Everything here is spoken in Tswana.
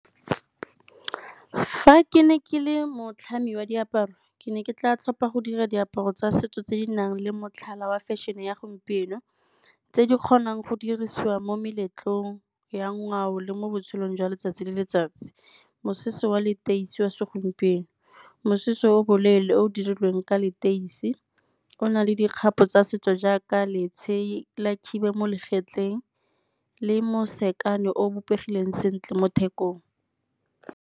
Fa ke ne ke le motlhami wa diaparo, ke ne ke tla tlhopa go dira diaparo tsa setso tse di nang le motlhala wa fashion-e ya gompieno, tse di kgonang go dirisiwa mo meletlong ya ngwao le mo botshelong jwa letsatsi le letsatsi. Mosese wa leteisi wa segompieno, mosese o boleele o dirilweng ka leteisi, o na le dikgato tsa setso jaaka la khiba mo legetleng le o o bopegileng sentle mo thekong.